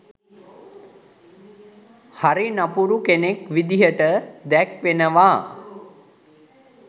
හරි නපුරු කෙනෙක් විදිහට දැක්වෙනවා.